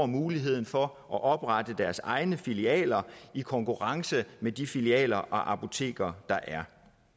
muligheden for at oprette deres egne filialer i konkurrence med de filialer og apoteker der er